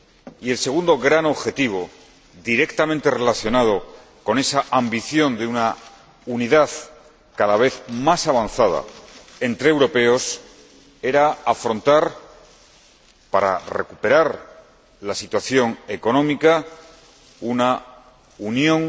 Y el segundo gran objetivo, directamente relacionado con esa ambición de una unidad cada vez más avanzada entre europeos, era lograr, para recuperar la situación económica, una unión